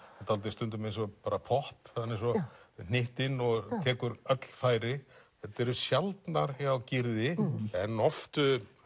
dálítið stundum eins og popp hann er svo hnyttinn og tekur öll færi þetta er sjaldnar hjá Gyrði en oft